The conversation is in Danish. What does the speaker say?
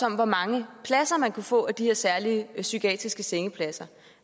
om hvor mange pladser man kunne få af de her særlige psykiatriske sengepladser